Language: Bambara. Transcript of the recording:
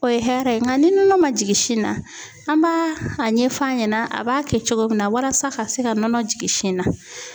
O ye hɛrɛ ye nka ni nɔnɔ man jigin sin na an b'a a ɲɛ f'a ɲɛna a b'a kɛ cogo min na walasa ka se ka nɔnɔ jigin sin na.